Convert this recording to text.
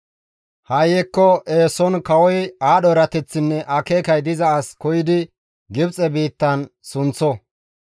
«Ha7i hekko eeson kawoy aadho erateththinne akeekay diza as koyidi Gibxe biittan sunththo.